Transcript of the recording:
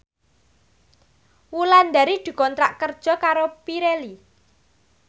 Wulandari dikontrak kerja karo Pirelli